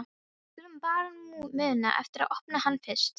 Við skulum bara muna eftir að opna hann fyrst!